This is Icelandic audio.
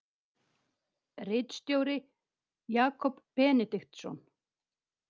Ritstjóri Jakob Benediktsson.